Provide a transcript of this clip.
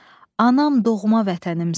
Anam, doğma vətənimsən.